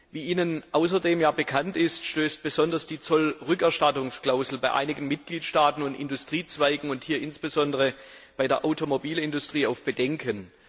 Wie Ihnen ja außerdem bekannt ist, stößt besonders die Zollrückerstattungsklausel bei einigen Mitgliedstaaten und Industriezweigen hier insbesondere bei der Automobilindustrie auf Bedenken.